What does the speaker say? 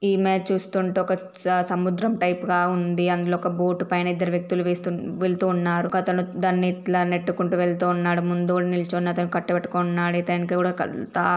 ఈ ఇమేజ్ చూస్తుంటే ఒక స-సముద్రం టైప్ గా ఉంది. అందులో ఒక బోట్ పైన ఇద్దరు వ్యక్తులు వేస్తూ వెళ్తూ ఉన్నారు. ఒక అతను దాన్ని ఇట్లా నెట్టుకుంటూ వెళ్తూ ఉన్నాడు. ముందు నిల్చున్న అతను కట్టె పట్టుకొని ఉన్నాడు ఇతనికి కూడా కల్ త --